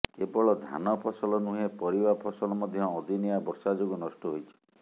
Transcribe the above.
କେବଳ ଧାନ ଫସଲ ନୁହେଁ ପରିବା ଫସଲ ମଧ୍ୟ ଅଦିନିଆ ବର୍ଷା ଯୋଗୁଁ ନଷ୍ଟ ହୋଇଛି